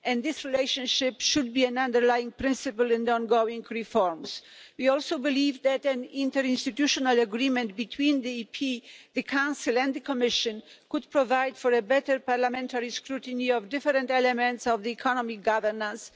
This relationship should be an underlying principle in the ongoing reforms. We also believe that an interinstitutional agreement between Parliament, the Council and the Commission could provide for better parliamentary scrutiny of different elements of economic governance.